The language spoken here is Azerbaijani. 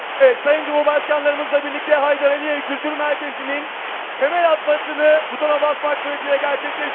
Evet, Sayın Cümhurbaşqanlarımızla birlikdə Heydər Əliyev Kültür Mərkəzinin təməl atmasını butona basmaq sürətiylə gərçəkləşdirdik.